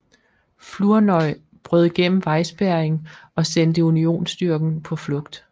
Flournoy brød igennem vejspærringen og sendte Unionsstyrken på flugt